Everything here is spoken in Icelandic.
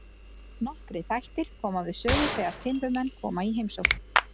Nokkrir þættir koma við sögu þegar timburmenn koma í heimsókn.